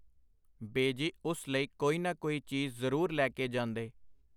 ਬੇਜੀ ਉਸ ਲਈ ਕੋਈ ਨਾ ਕੋਈ ਚੀਜ਼ ਜ਼ਰੂਰ ਲੈ ਕੇ ਜਾਂਦੇ.